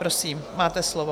Prosím, máte slovo.